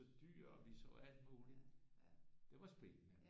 Så dyr og vi så alt muligt det var spændende